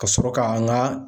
Ka sɔrɔ ka n ga